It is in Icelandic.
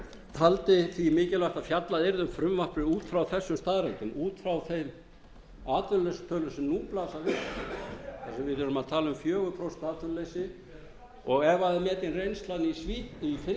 taldi því mikilvægt að fjallað yrði um frumvarpið út frá þessum staðreyndum út frá þeim atvinnuleysistölum sem nú blasa við við erum að tala um fjögur prósent atvinnuleysi og ef það er metin reynslan í finnlandi nítján hundruð níutíu